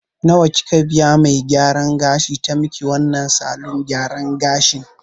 Nawa kika biya me gyaran gashin ta maki wannan salon gyaran gashin